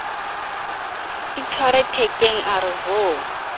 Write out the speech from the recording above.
itshwere thekeng a re ho